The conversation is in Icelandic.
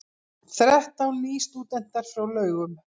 Þrettán nýstúdentar frá Laugum